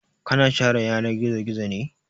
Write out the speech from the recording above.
Ka na share yanar gizo-gizo ne?